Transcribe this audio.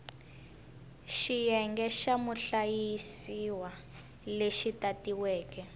xiyenge xa muhlayisiwa lexi tatiweke